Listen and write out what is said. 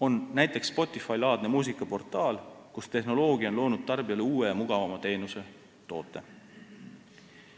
on näiteks Spotify-laadne muusikaportaal, kus tehnoloogia on loonud tarbijale uue ja mugavama teenuse/toote.